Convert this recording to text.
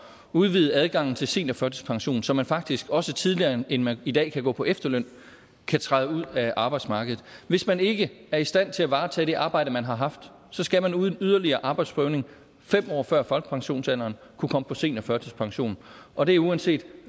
udvide adgangen til seniorførtidspension så man faktisk også tidligere end man i dag kan gå på efterløn kan træde ud af arbejdsmarkedet hvis man ikke er i stand til at varetage det arbejde man har haft så skal man uden yderligere arbejdsprøvning fem år før folkepensionsalderen kunne komme på seniorførtidspension og det er uanset